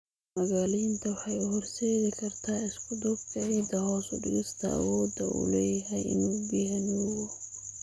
Magaaleynta waxay u horseedi kartaa isku-duubka ciidda, hoos u dhigista awoodda uu u leeyahay inuu biyaha nuugo.